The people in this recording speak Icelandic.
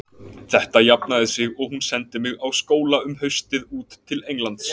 Þetta jafnaði sig og hún sendi mig á skóla um haustið út til Englands.